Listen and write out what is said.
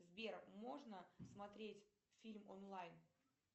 сбер можно смотреть фильм онлайн